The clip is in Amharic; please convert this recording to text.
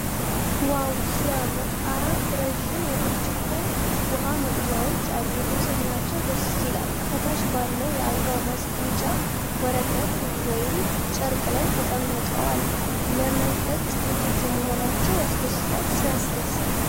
ዋው! ሲያምር! አራት ረዥም የብርጭቆ ውሃ መቅጃዎች አሉ። ንጽህናቸው ደስ ይላል! ከታች ባለው የአበባ ማስጌጫ ወረቀት ወይም ጨርቅ ላይ ተቀምጠዋል። ለመጠጥ ዝግጁ መሆናቸው ያስደስታል። ሲያስደስት!